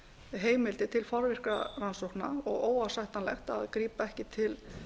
heimildir til forvirkra rannsókna og óásættanlegt að grípa ekki til